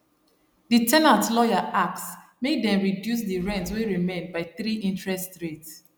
di ten ant lawyer ask make dem reduce di rent wey remain by 3 interest rate